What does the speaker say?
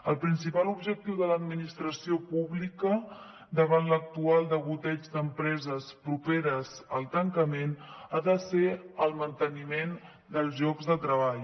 el principal objectiu de l’administració pública davant l’actual degoteig d’empreses properes al tancament ha de ser el manteniment dels llocs de treball